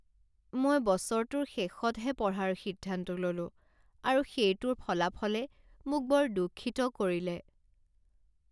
মই বছৰটোৰ শেষতহে পঢ়াৰ সিদ্ধান্ত ল'লোঁ আৰু সেইটোৰ ফলাফলে মোক বৰ দুঃখিত কৰিলে।